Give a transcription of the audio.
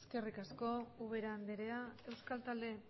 eskerrik asko ubera andrea euskal talde